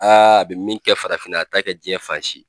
a bɛ min kɛ farafinna a t'a kɛ jiyɛn fan si.